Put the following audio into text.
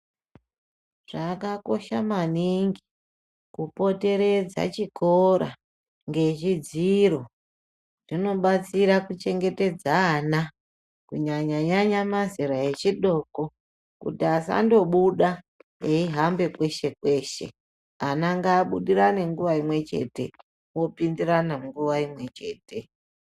Zvakakosha maningi kupoteredza chikora ngezvidziro zvinobatsira kuchengetedza ana kunyanya nyanya mazera echidoko kuti asangobuda meihamba kweshe kweshe ana ngabudirane nguva imwe chete opindirana nguwa imwe chete.